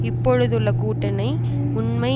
இப்பொழுதுள்ள கூட்டணி உண்மை